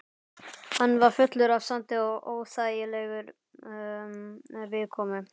Hann var fullur af sandi og óþægilegur viðkomu.